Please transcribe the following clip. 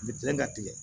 U bɛ tigɛ ka tigɛ